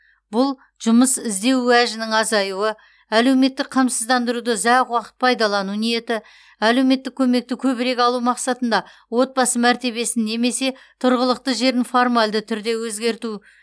бұл жұмыс іздеу уәжінің азаюы әлеуметтік қамсыздандыруды ұзақ уақыт пайдалану ниеті әлеуметтік көмекті көбірек алу мақсатында отбасы мәртебесін немесе тұрғылықты жерін формальды түрде өзгерту